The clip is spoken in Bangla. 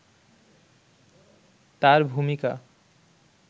তার ভূমিকা